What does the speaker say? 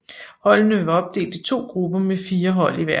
Holdene var opdelt i to grupper med fire hold i hver